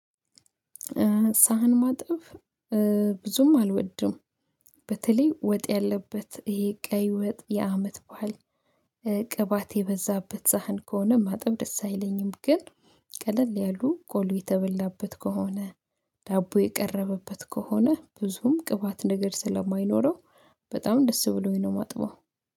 ሳህን ማጠብ ብዙም አልወድም በተለይ ወጥ ያለበት፤ ይሄ ቀይ ወጥ የአመት በዓል ቅባት የበዛበት ሳህን ከሆነ ማጠብ ደስ አይለኝም ግን ቀለል ያሉ ቆሎ የተበላበት ከሆነ ዳቦ የቀረበበት ከሆነ ብዙም ቅባት ነገር ስለማይኖረው በጣም ደስ ብሎኝ ነው ማጥበው።